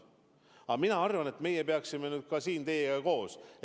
Aga mina arvan, et me peaksime nüüd ka teiega koos pingutama.